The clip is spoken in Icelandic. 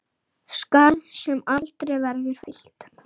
Skarð sem aldrei verður fyllt.